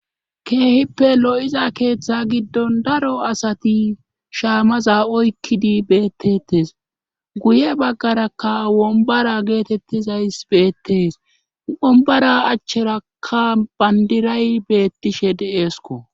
keehippe lo'iza keeththa giddon daro asati shaamaza oykkidi beettettes guye baggarakka wombara geetettizays beettees wombara achcherakka bandiray beettishe de7eesko